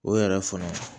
O yɛrɛ fana